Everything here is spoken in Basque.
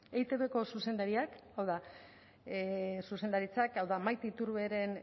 eitbko zuzendaritzak hau da maite iturberen